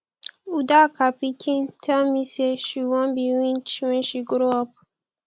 udoka pikin tell me say she wan be witch wen she grow up